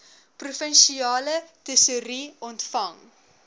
provinsiale tesourie ontvang